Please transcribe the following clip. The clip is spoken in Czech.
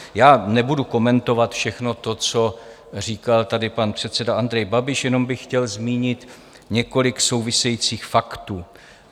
Já nebudu komentovat všechno to, co říkal tady pan předseda Andrej Babiš, jenom bych chtěl zmínit několik souvisejících faktů.